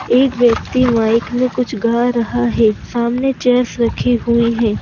एक व्यक्ति माइक में कुछ गा रहा है सामने चेयर्स रखी हुई हैं।